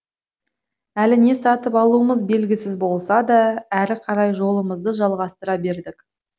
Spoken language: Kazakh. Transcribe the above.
әлі не сатып алуымыз белгісіз болса да әрі қарай жолымызды жалғастыра бердік